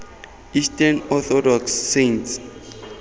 eastern orthodox saints